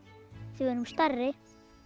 því við erum stærri